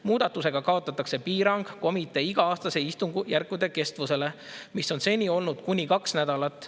Muudatusega kaotatakse piirang komitee iga-aastaste istungjärkude kestusele, mis on seni olnud kuni kaks nädalat.